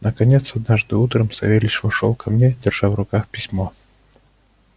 наконец однажды утром савельич вошёл ко мне держа в руках письмо